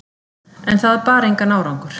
En það bar engan árangur.